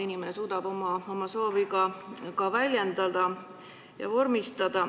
Inimene suudab oma soovi väljendada ja ka vormistada.